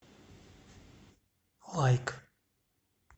лайк